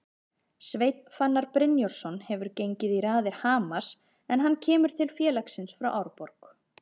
Sveinn Fannar Brynjarsson hefur gengið í raðir Hamars en hann kemur til félagsins frá Árborg.